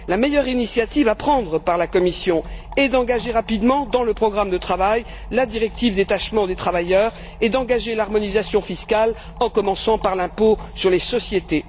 La meilleure initiative à prendre par la Commission est d'engager rapidement, dans le programme de travail, la directive détachement des travailleurs et d'engager l'harmonisation fiscale en commençant par l'impôt sur les sociétés.